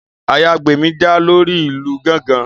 Àyàngbemi jà lórí ìlù gángan